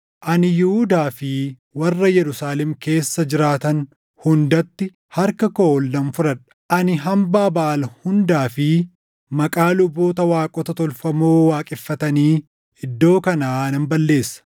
“Ani Yihuudaa fi warra Yerusaalem keessa jiraatan hundatti harka koo ol nan fudhadha. Ani hambaa Baʼaal hundaa fi // maqaa luboota waaqota tolfamoo waaqeffatanii iddoo kanaa nan balleessa;